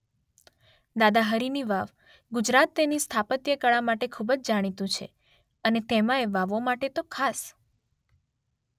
દાદા હરિની વાવ:ગુજરાત તેની સ્થાપત્યકળા માટે ખૂબજ જાણીતું છે અને તેમાંય વાવો માટે તો ખાસ.